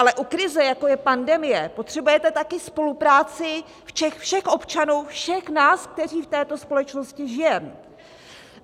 Ale u krize, jako je pandemie, potřebujete také spolupráci všech občanů, všech nás, kteří v této společnosti žijeme.